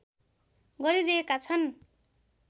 गरिदिएका छन्